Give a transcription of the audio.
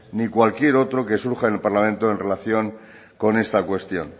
ni cualquier otro que surja en el parlamento en relación con esta cuestión